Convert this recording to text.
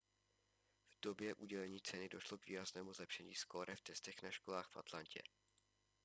v době udělení ceny došlo k výraznému zlepšení skóre v testech na školách v atlantě